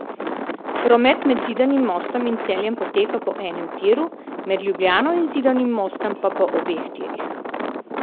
Promet med Zidanim Mostom in Celjem poteka po enem tiru, med Ljubljano in Zidanim Mostom pa po obeh tirih.